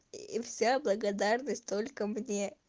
и вся благодарность только мне